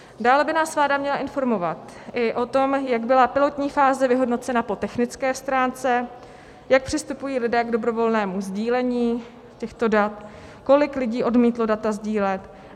Dále by nás vláda měla informovat i o tom, jak byla pilotní fáze vyhodnocena po technické stránce, jak přistupují lidé k dobrovolnému sdílení těchto dat, kolik lidí odmítlo data sdílet.